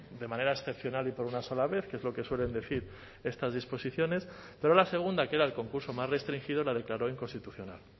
de manera excepcional y por una sola vez que es lo que suelen decir estas disposiciones pero la segunda que era el concurso más restringido la declaró inconstitucional